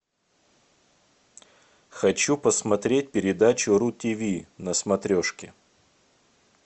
хочу посмотреть передачу ру тиви на смотрешке